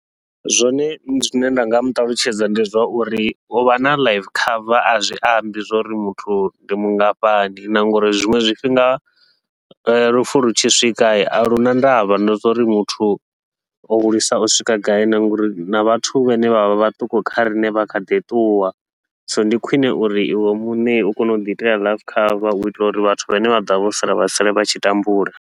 Zwone zwine nda nga muṱalutshedza ndi zwauri, uvha na life cover azwi ambi zwauri muthu ndi mungafhani na ngauri zwiṅwe zwifhinga lufu lu tshi swika a luna ndavha na zwa uri muthu o hulisa u swika gai, na ngauri na vhathu vhane vha vha vhaṱuku kha riṋe vha kha ḓi ṱuwa. So ndi khwiṋe uri iwe muṋe u kone uḓi itela life cover uitela uri vhathu vhane vha ḓovha vho sala vha sale vha tshi tambula.